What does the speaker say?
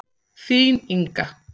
Þín, Inga.